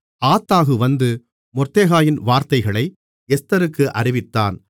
ஆத்தாகு வந்து மொர்தெகாயின் வார்த்தைகளை எஸ்தருக்கு அறிவித்தான்